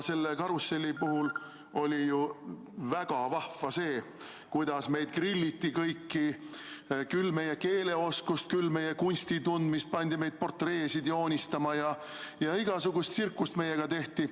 Selle karusselli puhul oli ju väga vahva, kuidas meid kõiki grilliti – küll uuriti meie keeleoskust, küll meie kunstitundmist, pandi meid portreesid joonistama ja igasugust tsirkust tehti.